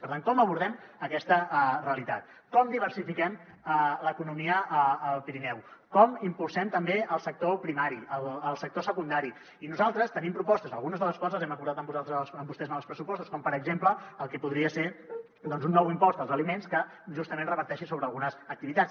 per tant com abordem aquesta realitat com diversifiquen l’economia al pirineu com impulsem també el sector primari el sector secundari i nosaltres tenim propostes algunes de les quals les hem acordat amb vostès als pressupostos com per exemple el que podria ser doncs un nou impost als aliments que justament reverteixi sobre algunes activitats